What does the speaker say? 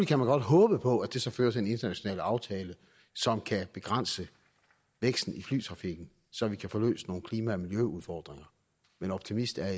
kan man godt håbe på at det så fører til en international aftale som kan begrænse væksten i flytrafikken så vi kan få løst nogle klima og miljøudfordringer men optimist er